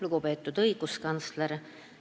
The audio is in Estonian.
Lugupeetud õiguskantsler!